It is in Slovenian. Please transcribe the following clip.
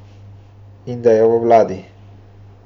In da je v vladi.